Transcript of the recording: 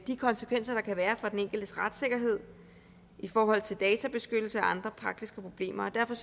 de konsekvenser der kan være for den enkeltes retssikkerhed i forhold til databeskyttelse og andre praktiske problemer og derfor